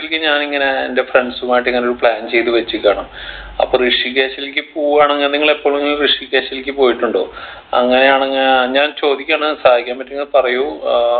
ഞാനിങ്ങനെ എൻ്റെ friends മായിട്ട് ഇങ്ങനൊരു plan ചെയ്‌ത്‌ വെച്ചിക്കാണ് അപ്പൊ ഋഷികേഷിൽക്ക് പോവാണെങ്‌ നിങ്ങൾ എപ്പോളെങ്കിലും ഋഷികേഷിൽക്ക് പോയിട്ടുണ്ടോ അങ്ങനെയാണങ്‌ ഞാൻ ചോദിക്കാണ് സഹായിക്കാൻ പറ്റിയെങ്കി പറയ ഏർ